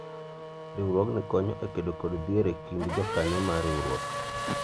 riwruogni konyo e kedo kod dhier e kind jokanyo mar riwruok